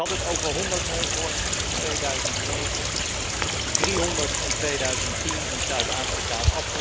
Ik had het over honderd neushoorns in 2009, driehonderd in 2010 in Zuid Afrika.